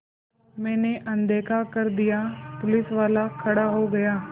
मैंने अनदेखा कर दिया पुलिसवाला खड़ा हो गया